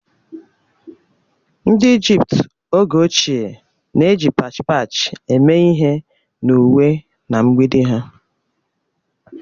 Ndị Ijipt oge ochie na-eji pach pach eme ihe n'uwe na mgbidi ha